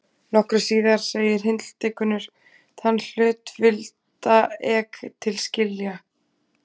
Nokkru síðar segir Hildigunnur: Þann hlut vilda ek til skilja.